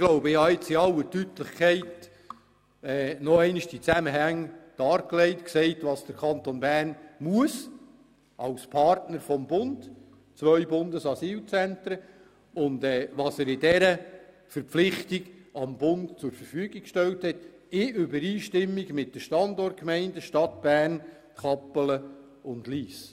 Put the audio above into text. Ich habe die Zusammenhänge jetzt noch einmal in aller Deutlichkeit dargelegt und aufgezeigt, welche Verpflichtungen der Kanton Bern gegenüber dem Bund als Partner hat, also die Bereitstellung von zwei Bundesasylzentren, und was er angesichts dieser Verpflichtung dem Bund zur Verfügung gestellt hat, in Übereinstimmung mit den Standortgemeinden Stadt Bern, Kappelen und Lyss.